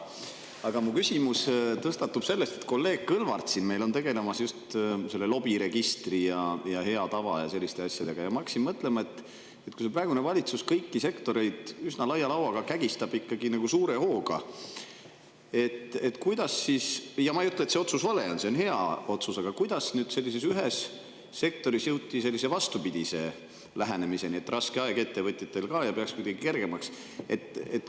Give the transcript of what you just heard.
Aga mu küsimus tõstatub sellest, et kolleeg Kõlvart tegeleb meil siin lobiregistri ja hea tava ja selliste asjadega, ja ma hakkasin mõtlema, et kui praegune valitsus kõiki sektoreid üsna laia lauaga kägistab suure hooga – ja ma ei ütle, et see otsus vale on, see on hea otsus –, siis kuidas sellises ühes sektoris jõuti vastupidise lähenemiseni, et raske aeg on ettevõtjatel ka ja peaks selle kuidagi kergemaks.